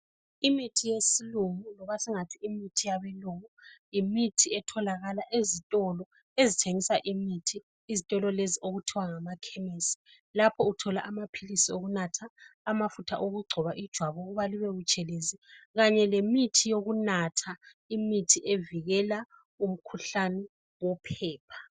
Imithi yesilungu loba singathi imithi yabelungu ,yimithi etholakala ezitolo ezithengisa imithi ..Izitolo lezi okuthiwa ngamakhemesi ,lapho uthola amaphilisi okunatha ,amafutha okugcoba ijwabu ukuba libe butshelezi .Kanye lemithi yokunatha ,imithi evikela umkhuhlane wophepha.